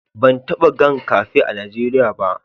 Ban taba gan kafe a'Nijeriya ba.